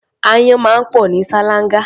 Áyán máa ń pọ̀ ní ṣáláńgá.